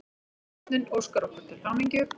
Þjónninn óskar okkur til hamingju.